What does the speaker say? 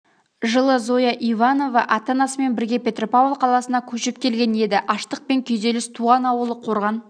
жылы зоя иванова ата-анасымен бірге петропавл қаласына көшіп келген еді аштық пен күйзеліс туған ауылы қорған